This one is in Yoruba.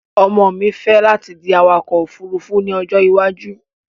Ọmọ mi fẹ́ láti di awakọ̀-òfurufú ní ọjọ́ ìwájú